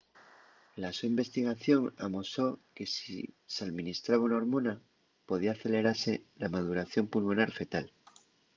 la so investigación amosó que si s'alministraba una hormona podía acelerase la maduración pulmonar fetal